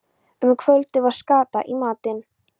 Um kvöldið var skata í matinn.